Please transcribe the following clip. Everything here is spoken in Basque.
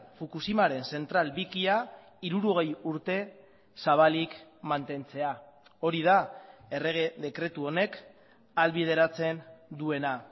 fukushimaren zentral bikia hirurogei urte zabalik mantentzea hori da errege dekretu honek ahalbideratzen duena